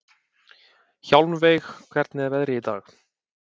Hjálmveig, hvernig er veðrið í dag?